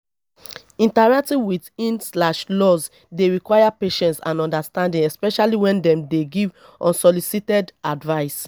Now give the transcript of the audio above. interacting with in slash laws dey require patience and understanding especially when dem dey give unsolicited advice